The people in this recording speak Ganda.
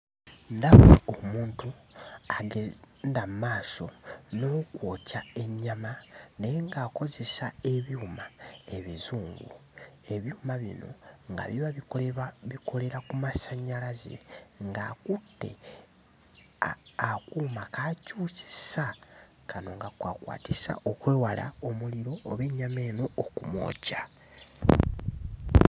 Ndaba omuntu agenda mmaaso n'okwokya ennyama naye ng'akozesa ebyuma ebizungu ebyuma bino nga biba bikoleba bikolera ku masannyalaze ng'akutte a akuuma k'akyusisa kano k'akwakwatisa okwewala omuliro oba ennyama eno okumwokya.